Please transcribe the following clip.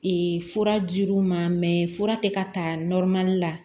Ee fura dir'u ma fura tɛ ka ta la